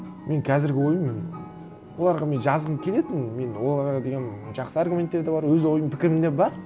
менің қазіргі ойым оларға мен жазғым келетін мен оларға деген жақсы аргументтер де бар өз ойым пікірім де бар